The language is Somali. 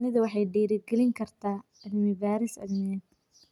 Shinnidu waxay dhiirigelin kartaa cilmi-baadhis cilmiyeed.